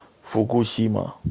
фукусима